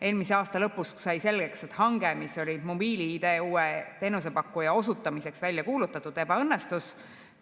Eelmise aasta lõpust sai selgeks, et hange, mis oli mobiil‑ID uue teenusepakkuja osutamiseks välja kuulutatud, ebaõnnestus.